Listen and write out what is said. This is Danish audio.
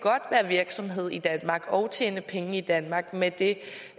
være virksomhed i danmark og tjene penge i danmark med det